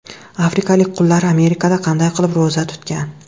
Afrikalik qullar Amerikada qanday qilib ro‘za tutgan?.